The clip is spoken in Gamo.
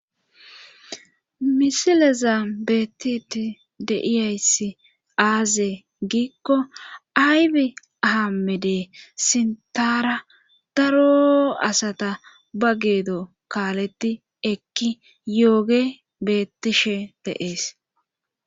Misileza beettii deiyayssi aaze giikko aybi ahamede sintara daro asata ba geedo kaaletti ekki yooge bettishe deees